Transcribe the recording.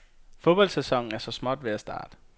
Fodboldsæsonen er så småt ved at starte.